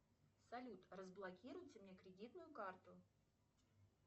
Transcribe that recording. салют разблокируйте мне кредитную карту